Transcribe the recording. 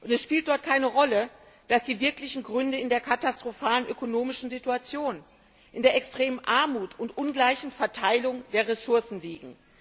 Es spielt dort keine Rolle, dass die wirklichen Gründe in der katastrophalen ökonomischen Situation, in der extremen Armut und ungleichen Verteilung der Ressourcen liegen.